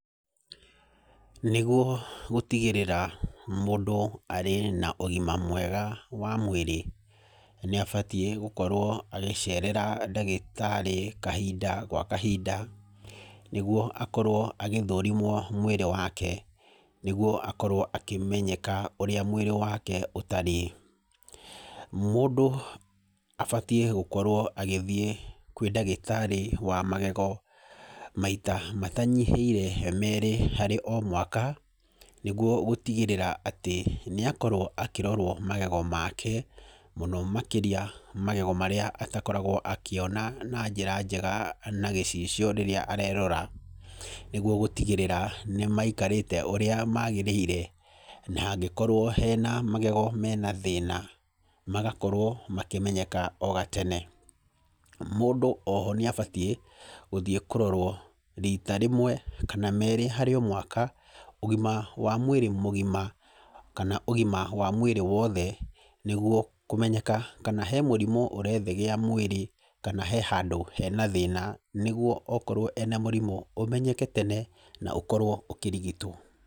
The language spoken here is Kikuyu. Nĩguo gũtigĩrĩra mũndũ arĩ na ũgima mwega wa mwĩrĩ, nĩ abatiĩ gũkorwo agĩcerera ndagĩtarĩ kahinda gwa kahinda, nĩguo akorwo agĩthũrimwo mwĩrĩ wake. Nĩguo akorwo akĩmenyeka ũrĩa mwĩrĩ wake ũtariĩ. Mũndũ abatiĩ gũkorwo agĩthiĩ kwĩ ndagĩtarĩ wa magego maita matanyihĩire meerĩ harĩ o mwaka, nĩguo gũtigĩrĩra atĩ nĩ akorwo akĩrorwo magego make, mũno makĩria magego marĩa atakoragwo akĩona na njĩra njega na gĩcicio rĩrĩa arerora. Nĩguo gũtigĩrĩra, nĩ maikarĩte ũrĩa magĩrĩire, na angĩkorwo hena magego mena thĩna, magakorwo makĩmenyeka o gatene. Mũndũ oho nĩ abatiĩ, gũthiĩ kũrorwo riita rĩmwe kana meerĩ harĩ o mwaka, ũgima wa mwĩrĩ mũgima. Kana ũgima wa mwĩrĩ wothe, nĩguo kũmenyaka kana he mũrimũ ũrethegea mwĩrĩ, kana he handũ hena thĩna nĩguo okorwo ena mũrimũ, ũmenyeke tene, na ũkorwo ũkĩrigitwo.